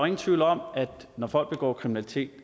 ingen tvivl om at når folk begår kriminalitet